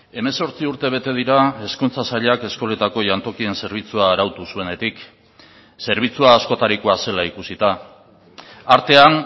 hemezortzi urte bete dira hezkuntza sailak eskoletako jantokien zerbitzua arautu zuenetik zerbitzua askotarikoa zela ikusita artean